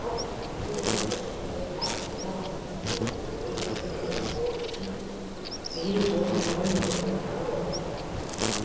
ат үстінде жүрген көшпенділер тақымына басқан сәйгүлігіне еркін мініп тұруы үшін биік ер тұрман мен үзеңгіні ойлап тапты